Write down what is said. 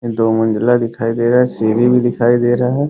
दो मंजिला दिखाई दे रहा है सीढ़ी भी दिखाई दे रहा है ।